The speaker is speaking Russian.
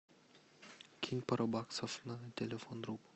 кинь пару баксов на телефон другу